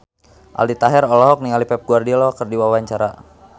Aldi Taher olohok ningali Pep Guardiola keur diwawancara